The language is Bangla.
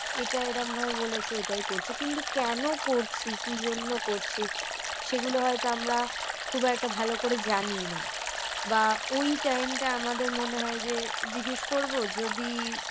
এটা এরাম ভাবে বলেছে, সেটাই করছে। কিন্তু কেন করছি? কি জন্য করছে? সেগুলো হয়তো আমরা খুব একটা ভাল করে জানিই না। বা ওই time টা আমাদের মনে হয় যে জিজ্ঞেস করবো যদি